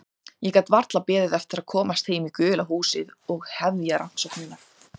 Ég gat varla beðið eftir að komast heim í gula húsið og hefja rannsóknirnar.